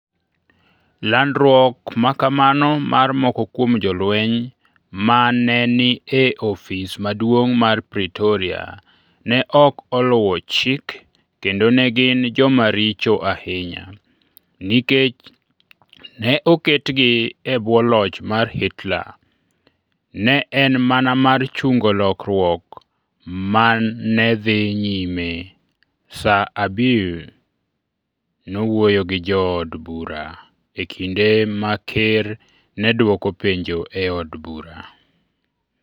"Landruok ma kamano mar moko kuom Jolweny ma ne ni e ofis maduong ' mar Praetoria ne ok oluw chik kendo ne gin joma richo ahinya, nikech ne oketgi e bwo loch mar Hitler. ne en mana mar chungo lokruok ma ne dhi nyime, sir Abiy nowuoyo gi jood bura e kinde ma ker ne dwoko penjo e od bura.